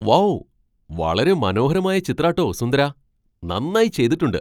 Wow ! വളരെ മനോഹരമായ ചിത്രാട്ടോ സുന്ദരാ! നന്നായി ചെയ്തിട്ടുണ്ട് .